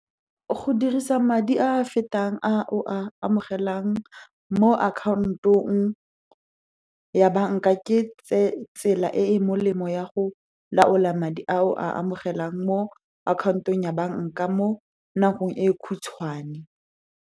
Go dirisa madi a a fetang a o a amogelang mo akhaontong ya banka, ke tsela e e molemo ya go laola madi a o a amogelang mo akhaontong ya banka mo nakong e khutshwane.